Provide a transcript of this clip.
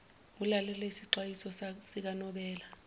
ulalele isixwayiso sikanobela